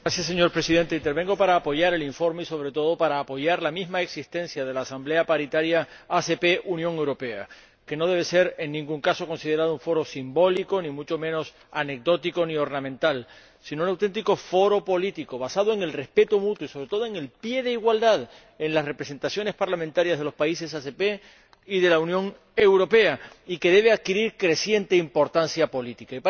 Señor Presidente, intervengo para apoyar el informe y sobre todo para apoyar la misma existencia de la Asamblea Paritaria ACP UE, que no debe ser en ningún caso considerada un foro simbólico, ni mucho menos anecdótico ni ornamental, sino un auténtico foro político basado en el respeto mutuo y, sobre todo, en la igualdad de las representaciones parlamentarias de los países ACP y de la Unión Europea, y que debe adquirir creciente importancia política.